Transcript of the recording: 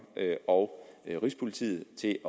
og rigspolitiet til